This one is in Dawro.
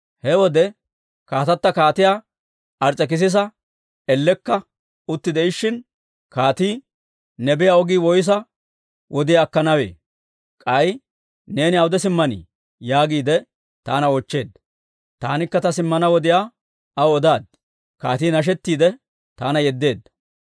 He wode, kaatata Kaatiyaa Ars's'ekisisa ellekka utti de'ishshin, kaatii, «Ne biyaa ogii woyssa wodiyaa akkanawee? K'ay neeni awude simmanii?» yaagiide taana oochcheedda. Taanikka ta simmana wodiyaa aw odaad; kaatii nashettiidde, taana yeddeedda.